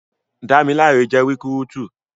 Dámiláre jẹ́ rikúrútú